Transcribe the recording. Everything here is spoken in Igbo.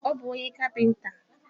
Ọ bu onye kapinta